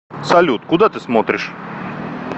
салют куда ты смотришь